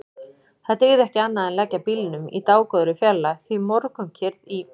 Það dygði ekki annað en leggja bílnum í dágóðri fjarlægð því morgunkyrrð í